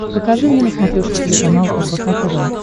покажи мне на смотрешке телеканал рбк тв